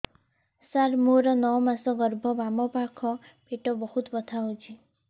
ସାର ମୋର ନଅ ମାସ ଗର୍ଭ ବାମପାଖ ପେଟ ବହୁତ ବଥା ହଉଚି